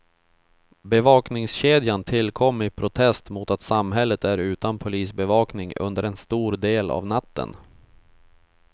Bevakningskedjan tillkom i protest mot att samhället är utan polisbevakning under en stor del av natten.